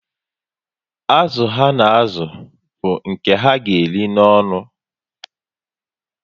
Azụ ha na azụ bu nke ha ga eri n'onu